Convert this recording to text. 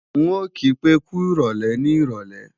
N ò kí pé kúròlè ní ìrọ̀lé